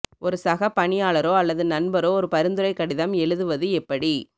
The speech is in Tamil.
ஒரு சக பணியாளரோ அல்லது நண்பரோ ஒரு பரிந்துரை கடிதம் எழுதுவது எப்படி